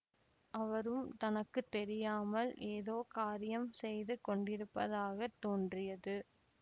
அவரும் தனக்கு தெரியாமல் ஏதோ காரியம் செய்து கொண்டிருப்பதாக தோன்றியது